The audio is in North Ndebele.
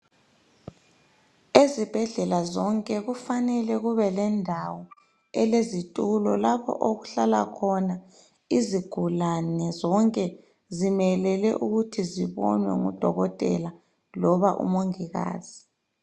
Ezibhedlela zonke kufanele kube lendawo elezitulo lapha okuhlala khona izigulane zonke zimelele ukuthi zibonwe ngudokotela loba umongikazi.